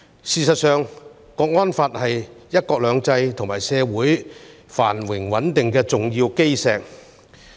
事實上，《香港國安法》是"一國兩制"與社會繁榮穩定的重要基石。